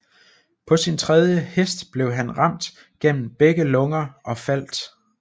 På sin tredje hest blev han ramt gennem begge lunger og faldt